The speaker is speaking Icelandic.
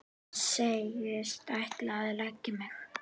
Segist ætla að leggja mig.